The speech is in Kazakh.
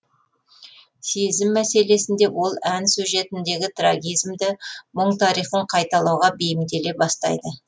сезім мәселесінде ол ән сюжетіндегі трагизмді мұң тарихын қайталауға бейімделе бастайды